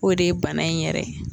O de ye bana in yɛrɛ ye.